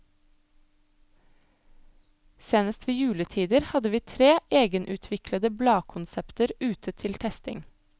Senest ved juletider hadde vi tre egenutviklede bladkonsepter ute til testing.